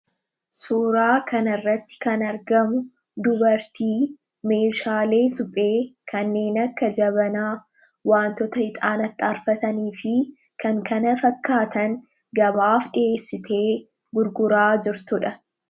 Suuraa kana irratti kan argamu, dubartii Meeshaalee suphee kanneen akka jabanaa, waantota ixaana itti aarfatanii fi kan kana fakkaatan gabaaf dhiheessitee gurguraa jirtudha.